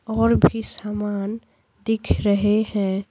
और भी सामान दिख रहे हैं।